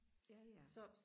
ja ja